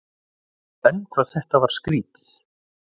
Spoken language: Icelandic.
En hvað þetta var skrýtið.